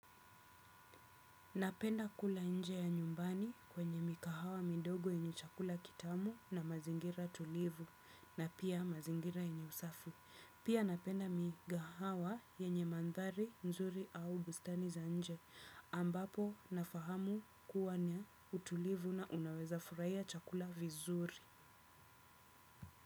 Napenda kula nje ya nyumbani kwenye mikahawa midogo yenye chakula kitamu na mazingira tulivu na pia mazingira yenye safi. Pia napenda mikahawa yenye mandhari nzuri au bustani za nje. Ambapo nafahamu kuwa na utulivu na unaweza furaia chakula vizuri.